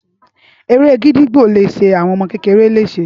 Ére gídígbò le ṣe àwọn ọmọ kékeré lese